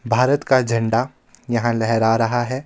भारत का झंडा यहां लहरा रहा है.